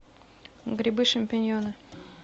грибы шампиньоны